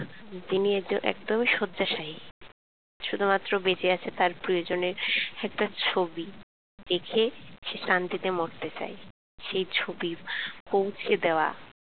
তিনি এত একদমই শয্যাশায়ী শুধু মাত্র বেঁচে আছে তার প্রিয়জনের একটা ছবি দেখে সে শান্তিতে মরতে চায় সেই ছবি পৌছে দেওয়া